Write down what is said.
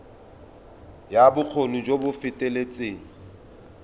ya bokgoni jo bo feteletseng